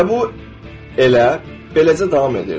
Və bu elə beləcə davam edirdi.